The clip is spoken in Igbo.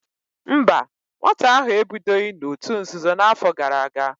Mba, nwata ahụ ebidoghị n'òtù nzuzo n'afọ gara aga